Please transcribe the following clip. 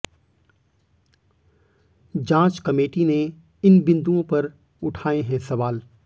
जांच कमेटी ने इन बिंदुओं पर उठाए हैं सवाल